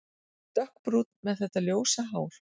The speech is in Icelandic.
Dökkbrún með þetta ljósa hár.